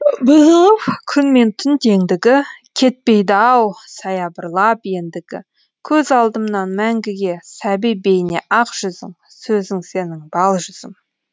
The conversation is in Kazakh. бұзылып күн мен түн теңдігі кетпейді ау саябырлап ендігі көз алдымнан мәңгіге сәби бейне ақ жүзің сөзің сенің бал жүзім